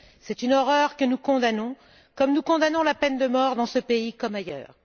C'est une horreur que nous condamnons, comme nous condamnons la peine de mort dans ce pays comme ailleurs.